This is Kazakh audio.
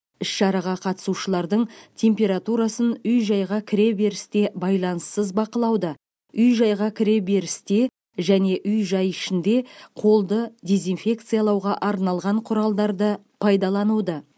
іс шараға қатысушылардың температурасын үй жайға кіреберісте байланыссыз бақылауды үй жайға кіреберісте және үй жай ішінде қолды дезинфекциялауға арналған құралдарды пайдалануды